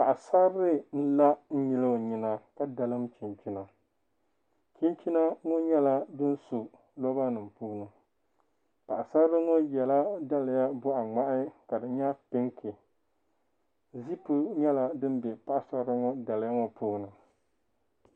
Paɣasarili n la n nyili o nyina ka dalim chinchina chinchina ŋo nyɛla din su roba nim puuni paɣasarili ŋo yɛla daliya boɣa ŋmahi ka di nyɛ pinki ziipu nyɛla din bɛ paɣasarili ŋo daliya ŋo puuni